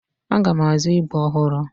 Aga m azụ ígwè ọhụrụ.